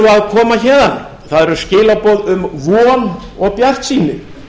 koma héðan það eru skilaboð um von og bjartsýni